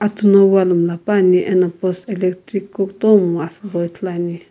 Atu no wall miilapane ane post electric post kutomo ithulu ane.